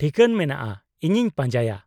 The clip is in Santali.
-ᱴᱷᱤᱠᱟᱹᱱ ᱢᱮᱱᱟᱜᱼᱟ, ᱤᱧᱤᱧ ᱯᱟᱸᱡᱟᱭᱟ ᱾